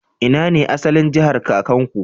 Ina ne asalin jahar kakanku?